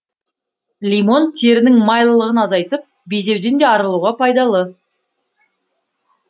лимон терінің майлылығын азайтып безеуден де арылтуға пайдалы